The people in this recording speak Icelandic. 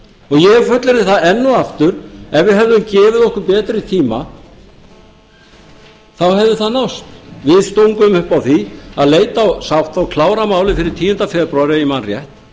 ég fullyrði það enn og aftur ef við hefðum gefið okkur betri tíma þá hefði það náðst við stungum upp á því að leita sátta og klára málið fyrir tíunda febrúar ef ég man rétt